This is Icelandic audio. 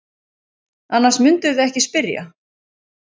Annars mundirðu ekki spyrja.